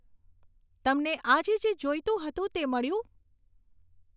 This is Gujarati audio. તમને આજે જે જોઈતું હતું તે મળ્યું